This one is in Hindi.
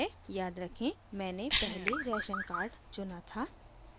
याद रखें मैंने पहले राशन कार्ड चुना था